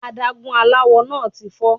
Adágún aláwo náà ti fọ́.